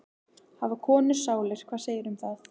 Hafa konur sálir, hvað segirðu um það?